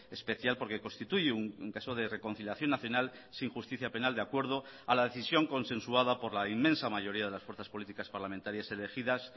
especial porque constituye un caso de reconciliación nacional sin justicia penal de acuerdo a la decisión consensuada por la inmensa mayoría de las fuerzas políticas parlamentarias elegidas